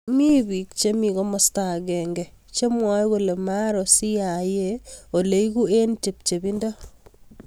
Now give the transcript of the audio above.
Mi biik chemi kimasta agenge chemwae kole maaro CIA ole egu eng chepchepindo